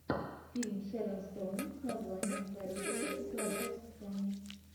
фильм шерон стоун с названием гарри поттер и философский камень